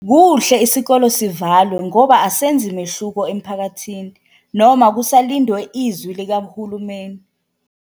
Kuhle isikole sivalwe ngoba asenzi mehluko emphakathini noma kusalindwe izwi likahulumeni.